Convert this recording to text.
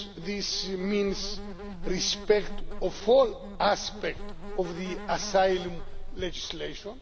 this means respect of all aspects of the asylum legislation.